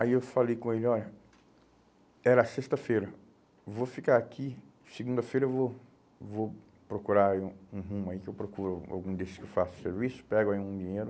Aí eu falei com ele, olha, era sexta-feira, vou ficar aqui, segunda-feira eu vou, vou procurar aí um um rumo aí, que eu procuro algum desses que eu faço serviço, pego aí um dinheiro.